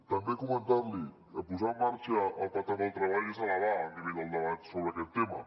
també comentar li que posar en marxa el pacte pel treball és elevar el nivell del debat sobre aquest tema